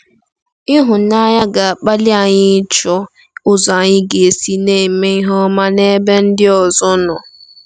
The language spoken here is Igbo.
Ịhụnanya ga-akpali anyị ịchọ ụzọ anyị ga-esi na-eme ihe ọma n'ebe ndị ọzọ nọ.